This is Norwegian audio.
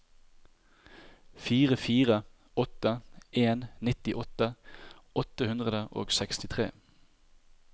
fire fire åtte en nittiåtte åtte hundre og sekstitre